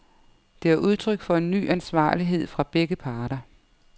Det er udtryk for en ny ansvarlighed fra begge parter.